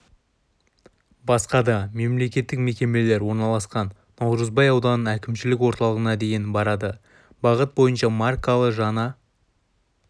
басқа да мемлекеттік мекемелер орналасқан наурызбай ауданының әкімшілік орталығына дейін барады бағыт бойынша маркалы жаңа